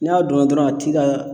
N'a dɔn na dɔrɔn a t'i ka